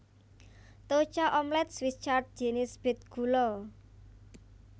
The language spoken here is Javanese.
Troucha omelet Swiss Chard jinis bit gula